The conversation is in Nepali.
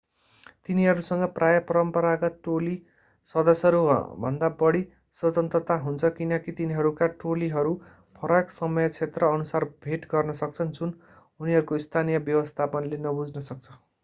तिनीहरूसँग प्रायः परम्परागत टोली सदस्यहरू भन्दा बढी स्वतन्त्रता हुन्छ किनकि तिनीहरूका टोलीहरू फरक समय क्षेत्र अनुसार भेट गर्न सक्छन् जुन उनीहरूको स्थानीय व्यवस्थापनले नबुझ्न सक्छ